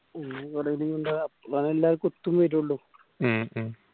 ഉം കുറെ leave ഇണ്ടാവും ഏർ എല്ലാവർക്കും ഒത്തും വരുള്ളു ഉം